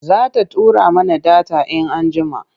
Za ta tura mana data in anjjima,